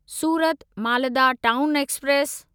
Surat Malda town express